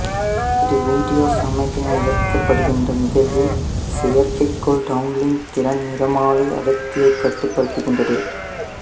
இது வீடியோ சமிக்ஞை இழக்கப்படுகின்ற நிகழ்வில் செயற்கைக்கோள் டவுன்லிங் திறன் நிறமாலை அடர்த்தியைக் கட்டுப்படுத்துகின்றது